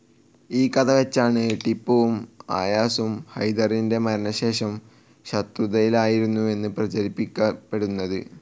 ഈ കഥ വെച്ചാണ് ടിപ്പുവും അയാസും ഹൈദറിന്റെ മരണ ശേഷം ശത്രുതയിലായിരുന്നു എന്ന് പ്രചരിപ്പിക്കപ്പെടുന്നത്‌.